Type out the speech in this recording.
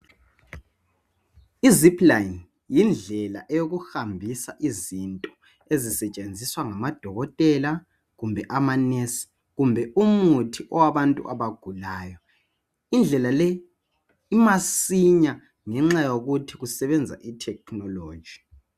Izipline yindlela yokuhambisa izinto ezisetshenziswa ngabodokotela kumbe amanesi kumbe umuthi owabantu abagulayo. Indlela le imasinya ngenxa yokuthi kusebenza itechnology.